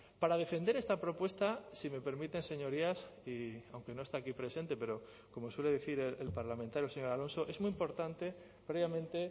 para defender esta propuesta si me permiten señorías y aunque no está aquí presente pero como suele decir el parlamentario señor alonso es muy importante previamente